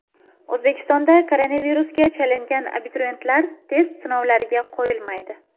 O‘zbekistonda koronavirusga chalingan abituriyentlar test sinovlariga qo‘yilmaydi.